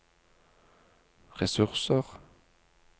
ressurser